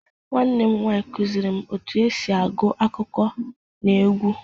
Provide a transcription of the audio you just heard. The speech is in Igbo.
Nwanne m nwaanyị kụzịrị m otú e si agụ akụkọ n'egwú